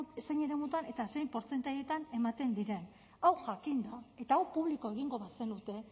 eremutan eta zein portzentaietan ematen diren hau jakinda eta hau publiko egingo bazenute